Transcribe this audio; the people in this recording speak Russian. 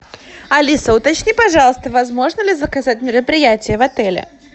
алиса уточни пожалуйста возможно ли заказать мероприятие в отеле